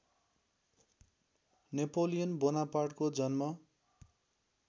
Napoleon बोनापार्टको जन्म